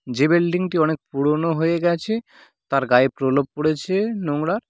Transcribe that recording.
যে বিল্ডিং -টি অনেক পুরনো হয়ে গেছে তার গায়ে প্রলেপ পরেছে নোংরা।